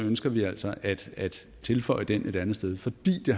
ønsker vi altså at tilføje den et andet sted fordi det